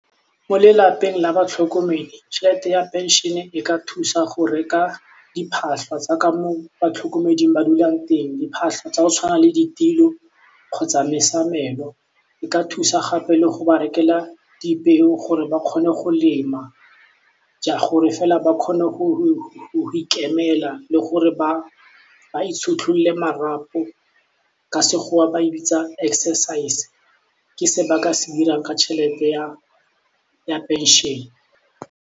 Mo lelapeng la batlhokomedi tšhelete ya pension-e ka thusa go reka diphatlho tsa ka mo batlhokomeding ba dulang teng diphatlho tsa go tshwana le ditilo kgotsa mesamelo e ka thusa gape le go ba rekela dipeo gore ba kgone go lema, gore fela ba kgone go ikemela le gore ba itshotlolle marapo ka sekgowa ba e bitsa exercise ke se ba ka se dirang ka tšhelete ya pension-e.